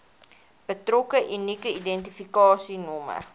betrokke unieke identifikasienommer